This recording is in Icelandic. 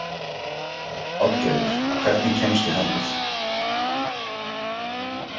Oddgerður, hvernig kemst ég þangað?